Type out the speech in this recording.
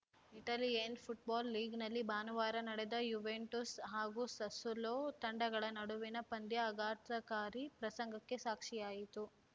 Italian football ಲೀಗ್‌ನಲ್ಲಿ ಭಾನುವಾರ ನಡೆದ ಯುವೆಂಟುಸ್‌ ಹಾಗೂ ಸಸ್ಸುಲೋ ತಂಡಗಳ ನಡುವಿನ ಪಂದ್ಯ ಆಘಾತಕಾರಿ ಪ್ರಸಂಗಕ್ಕೆ ಸಾಕ್ಷಿಯಾಯಿತು